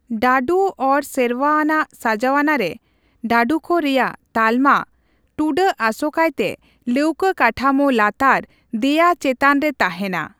ᱰᱟᱹᱰᱩ ᱚᱨ ᱥᱮᱨᱣᱟ ᱟᱱᱟᱜ ᱥᱟᱡᱟᱣᱱᱟᱨᱮ ᱰᱟᱹᱰᱩᱠᱚ ᱨᱮᱭᱟᱜ ᱛᱟᱞᱢᱟ ᱴᱩᱰᱟᱹᱜ ᱟᱥᱳᱠᱟᱭᱛᱮ ᱞᱟᱹᱣᱠᱟᱹ ᱠᱟᱴᱷᱟᱢᱩ ᱞᱟᱛᱟᱨ ᱫᱮᱭᱟ ᱪᱮᱛᱟᱱ ᱨᱮ ᱛᱟᱸᱦᱮᱱᱟ ᱾